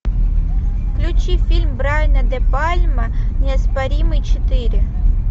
включи фильм брайана де пальма неоспоримый четыре